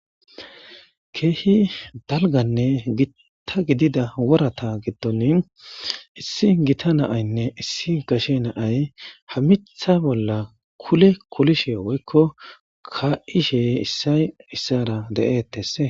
Keehi dalganne gita gidida worata gidtoni issi gita naaynne issi gashe naay hammitha bolla kule kulishe woykko ka'ishe issay issara de'eettes.